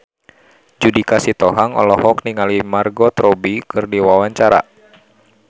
Judika Sitohang olohok ningali Margot Robbie keur diwawancara